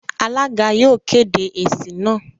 Alága yóò kéde èsì náà.